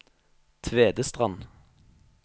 Tvedestrand